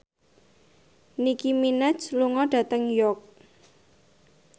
Nicky Minaj lunga dhateng York